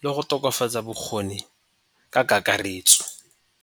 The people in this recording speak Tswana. le go tokafatsa bokgoni ka kakaretso.